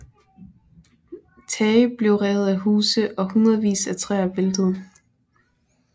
Tage blev revet af huse og hundredvis af træer væltede